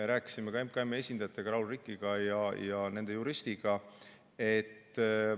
Me rääkisime ka MKM-i esindajatega, Raul Rikiga ja nende juristiga.